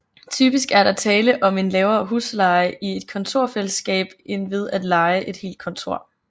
Typisk er der tale om en lavere husleje i et kontorfællesskab end ved at leje et helt kontor